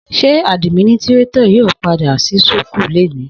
Sẹ àdiminitirato yio pàdá wà sí súkù lẹní?